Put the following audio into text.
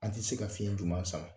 An ti se ka fiɲɛ juman sama.